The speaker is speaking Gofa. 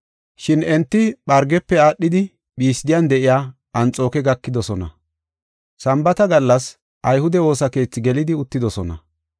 Shin enti Phargefe aadhidi Phisden de7iya Anxooke gakidosona. Sambaata gallas ayhude woosa keethi gelidi uttidosona.